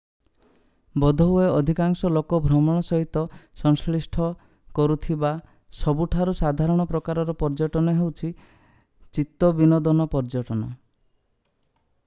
ବୋଧହୁଏ ଅଧିକାଂଶ ଲୋକ ଭ୍ରମଣ ସହିତ ସଂଶ୍ଳିଷ୍ଟ କରୁଥିବା ସବୁଠାରୁ ସାଧାରଣ ପ୍ରକାରର ପର୍ଯ୍ୟଟନ ହେଉଛି ଚିତ୍ତବିନୋଦନ ପର୍ଯ୍ୟଟନ